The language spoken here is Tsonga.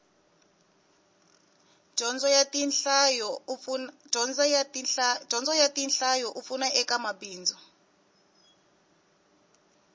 dyondzo ya tinhlayo a pfuna eka mabindzu